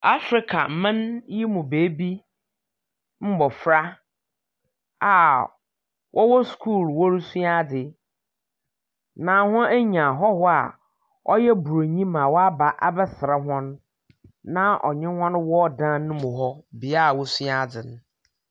Africa man yi mu beebi mbɔfra a wɔwɔ school wɔresua adze, na hɔn anya hɔhoɔ a ɔyɛ buroni ma waba abɛsra hɔn, na ɔnye hɔn wɔ dan no mu hɔ, bea a wosua adze no.